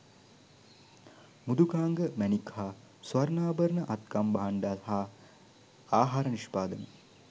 මෘදුකාංග මැණික් හා ස්වර්ණාභරණ අත්කම් භාණ්ඩ හා ආහාර නිෂ්පාදන